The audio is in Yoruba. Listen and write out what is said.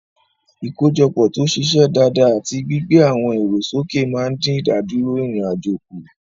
Ìkójọpọ̀ tó ṣiṣẹ́ dáadáa àti gbígbé àwọn ẹ̀rọ sókè máa ń dín ìdádúró ìrìn-àjò kù.